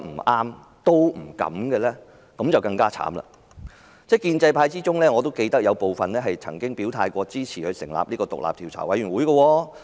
我記得建制派中有部分議員曾經表態支持成立獨立調查委員會。